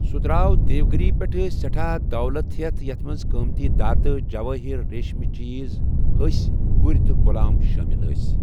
سُہ دراو دیوگِری پیٹھہٕ سہٹھاہ دولت ہٮ۪تھ یتھ منٛز قۭمتی دھاتہٕ، جوٲہر، ریٖشٕمٕی چیز، ہسہِ، گُرِ تہٕ غلام شٲمِل ٲسۍ ۔